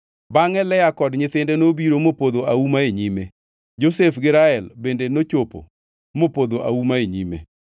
Bangʼe Lea kod nyithinde nobiro mopodho auma e nyime. Josef gi Rael bende nochopo mopodho auma e nyime.